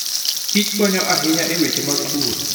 Kich konyo ahinya e weche mag pur.